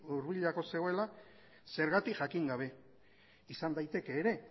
hurbilago zegoela zergatik jakin gabe izan daiteke ere